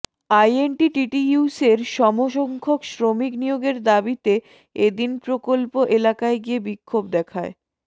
আইএনটিটিইউসির সম সংখ্যক শ্রমিক নিয়োগের দাবিতে এ দিন প্রকল্প এলাকায় গিয়ে বিক্ষোভ দেখায়